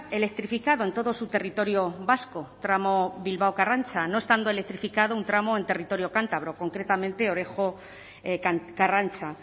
electrificado en todo su territorio vasco tramo bilbao karrantza no estando electrificado un tramo en territorio cántabro concretamente orejo karrantza